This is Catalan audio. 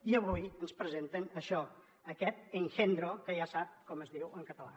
i avui ens presenten això aquest engendro que ja sap com es diu en català